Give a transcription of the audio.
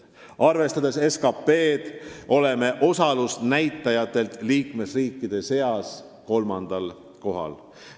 Arvestades SKT-d, oleme osalusnäitajatelt liikmesriikide seas kolmandal kohal.